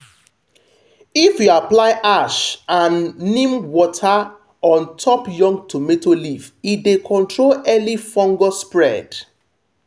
if you apply ash and neem water on top young tomato leaf e dey control early fungus spread.